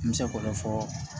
N bɛ se k'o de fɔ